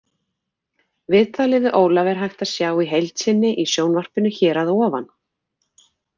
Viðtalið við Ólaf er hægt að sjá í heild sinni í sjónvarpinu hér að ofan.